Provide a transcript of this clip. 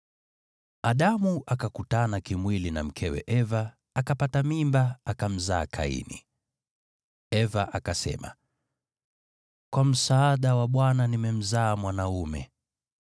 Adamu akakutana kimwili na mkewe Eva, naye akapata mimba, akamzaa Kaini. Eva akasema, “Kwa msaada wa Bwana nimemzaa mwanaume.”